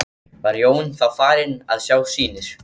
Var Jón þá farinn að sjá sýnir.